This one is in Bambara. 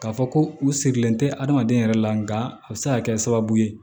K'a fɔ ko u sigilen tɛ adamaden yɛrɛ la nka a bɛ se ka kɛ sababu ye